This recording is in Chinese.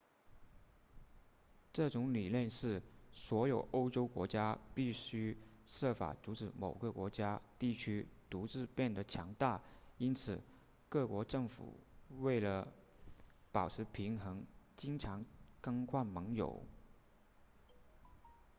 这种理念是所有欧洲国家必须设法阻止某个国家地区独自变得强大因此各国政府为了保持平衡经常更换盟友